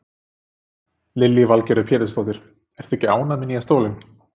Lillý Valgerður Pétursdóttir: Ertu ekki ánægð með nýja stólinn?